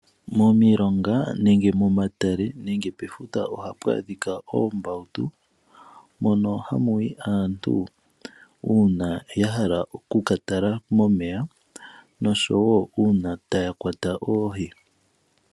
Momilonga nenge momatale nenge pefuta ohapu adhika oombawutu mono hamu yi aantu uuna ya hala okukatala momeya noshowo uuna taya kwata oohi.